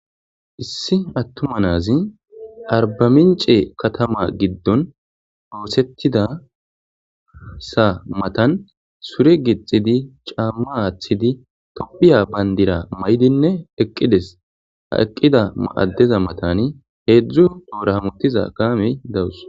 Issi attuma na'azi Arbamincce katama gidon,oothetidaysa mattan sure gixxidi ,caama aathidi,Thopia bandira mayidi nne eqqides.ha eqqida adeza matan heedzu tohora hamutiza kaamey dawus.